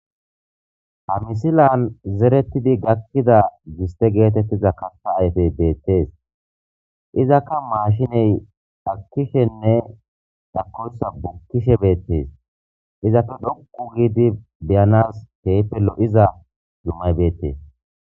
hamisilan zeretidi gakkida giste geetettiza kata ayfey beettees izaka maashiney akishenne dhakoysa bukkishe beettees izafe dhokku giidi beyanas keypelo7iza zumay beettees